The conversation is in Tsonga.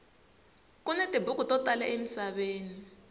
kuni tibuku to tala emisaveni